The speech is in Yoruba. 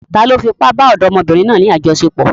Tani ó fi ipá bá ọ̀dọ́mọbìnrin náà ní àjọṣepọ̀?